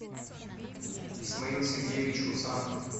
исмаил сергеевич хусанов